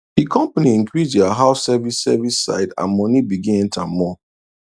the company increase their house service service side and money begin enter more